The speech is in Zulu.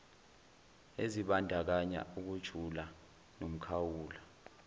ezibandakanya ukujula nomkhawulo